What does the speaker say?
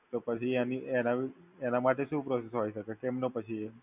તો પછી એની એના એના માટે શું process હોય શકે? કેમનો પછી એ